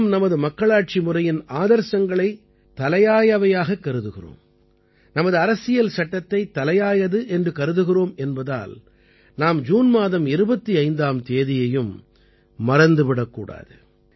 நாம் நமது மக்களாட்சி முறையின் ஆதர்சங்களை தலையாயவையாகக் கருதுகிறோம் நமது அரசியல் சட்டத்தை தலையாயது என்று கருதுகிறோம் என்பதால் நாம் ஜூன் மாதம் 25ஆம் தேதியையும் மறந்து விடக் கூடாது